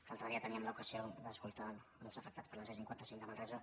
l’altre dia teníem l’ocasió d’escoltar els afectats per la c cinquanta cinc a manresa